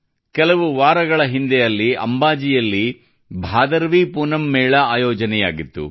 ಕೆಲವು ವಾರಗಳ ಹಿಂದೆ ಅಲ್ಲಿ ಅಂಬಾಜಿಯಲ್ಲಿ ಭಾದರವೀ ಪೂನಮ್ ಮೇಳ ಆಯೋಜನೆಯಾಗಿತ್ತು